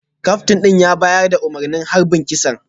Kaftin din ya bayar da umarnin harbin kisan